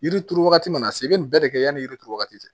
Yiri turu wagati mana se i bɛ nin bɛɛ de kɛ yanni yiri turu wagati tɛ